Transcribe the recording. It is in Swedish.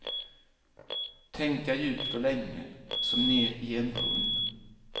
Tänka djupt och länge, som ner i en brunn.